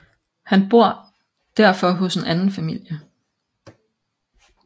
Han bor derfor hos en anden familie